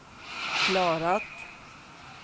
klarat